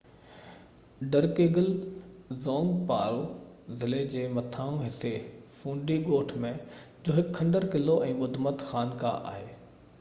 ڊرڪيگل زونگ پارو ضلعي جي مٿانهن حصي فوندي ڳوٺ ۾ جو هڪ کنڊر قلعو ۽ ٻڌمت خانقاه آهي